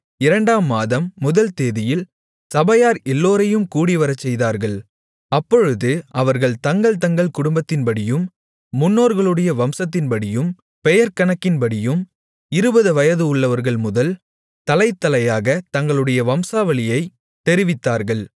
இரண்டாம் மாதம் முதல் தேதியில் சபையார் எல்லோரையும் கூடிவரச்செய்தார்கள் அப்பொழுது அவர்கள் தங்கள்தங்கள் குடும்பத்தின்படியும் முன்னோர்களுடைய வம்சத்தின்படியும் பெயர் கணக்கின்படியும் இருபது வயதுள்ளவர்கள்முதல் தலைதலையாகத் தங்களுடைய வம்சாவளியைத் தெரிவித்தார்கள்